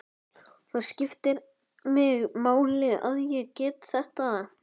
Það skiptir mig máli að ég get þetta.